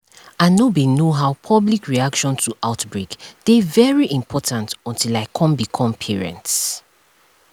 i know bin know how public reaction to outbreak dey very important until i come become parents